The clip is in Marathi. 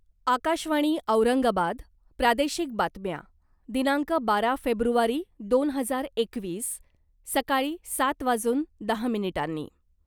आकाशवाणी औरंगाबाद प्रादेशिक बातम्या दिनांक बारा फेब्रुवारी दोन हजार एकवीस सकाळी सात वाजून दहा मिनिटांनी